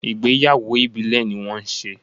Ìgbéyàwó Ìbílẹ̀ ní wọ́n ṣe.